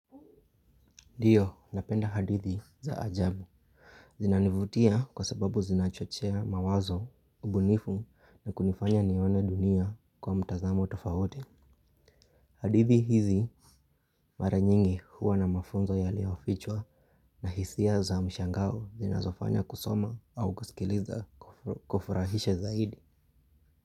Ndiyo napenda hadithi za ajabu. Zinanivutia kwa sababu zinachochea mawazo, ubunifu na kunifanya nione dunia kwa mtazamo tofauti. Hadithi hizi mara nyingi huwa na mafunzo yaliofichwa. Na hisia za mshangao zinazofanya kusoma au kusikiliza kufurahishe zaidi.